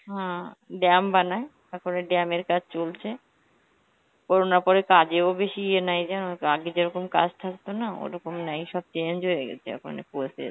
হম dam বানায়, তারপরে dam এর কাজ চলছে. corona র পরে কাজেও বেশি ইয়ে নাই যেমন~ আগে যেরকম কাজ থাকতো না, ওরকম নাই, সব change হয়ে গেছে এখন এর পরে থেকে